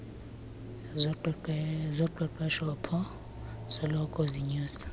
zoqeqeshpo soloko zinyusa